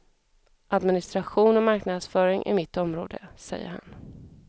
Administration och marknadsföring är mitt område, säger han.